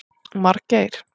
Margeir